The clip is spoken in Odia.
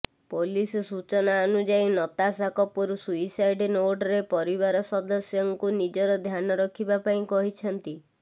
ପୋଲିସ ସୂଚନା ଅନୁଯାୟୀ ନତାଶା କପୁର ସୁଇସାଇଡ୍ ନୋଟରେ ପରିବାର ସଦସ୍ୟଙ୍କୁ ନିଜର ଧ୍ୟାନ ରଖିବା ପାଇଁ କହିଛନ୍ତି